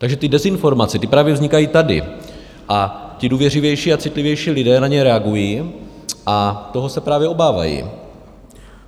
Takže ty dezinformace, ty právě vznikají tady a ti důvěřivější a citlivější lidé na ně reagují a toho se právě obávají.